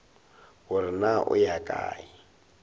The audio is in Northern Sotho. gore na o ya kae